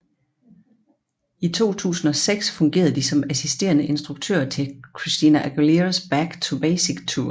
I 2006 fungerede de som assisterende instruktører til Christina Aguileras Back to Basics Tour